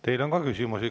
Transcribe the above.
Teile on ka küsimusi.